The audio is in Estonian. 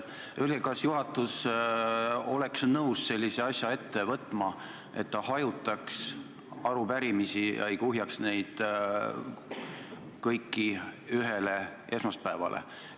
Öelge, kas juhatus oleks nõus sellise asja ette võtma, et arupärimisi hajutataks ega kuhjataks kõiki ühele esmaspäevale.